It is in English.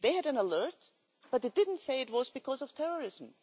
they had an alert, but they didn't say it was because of terrorism.